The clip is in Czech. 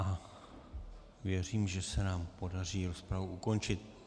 A věřím, že se nám podaří rozpravu ukončit.